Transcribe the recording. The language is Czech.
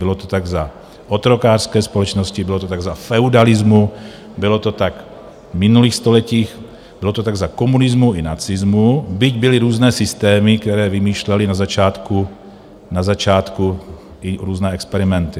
Bylo to tak za otrokářské společnosti, bylo to tak za feudalismu, bylo to tak v minulých stoletích, bylo to tak za komunismu i nacismu, byť byly různé systémy, které vymýšlely na začátku i různé experimenty.